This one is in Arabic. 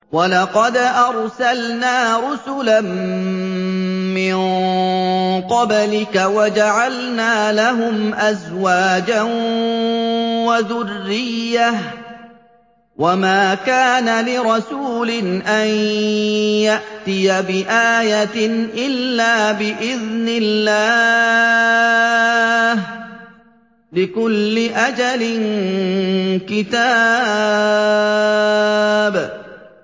وَلَقَدْ أَرْسَلْنَا رُسُلًا مِّن قَبْلِكَ وَجَعَلْنَا لَهُمْ أَزْوَاجًا وَذُرِّيَّةً ۚ وَمَا كَانَ لِرَسُولٍ أَن يَأْتِيَ بِآيَةٍ إِلَّا بِإِذْنِ اللَّهِ ۗ لِكُلِّ أَجَلٍ كِتَابٌ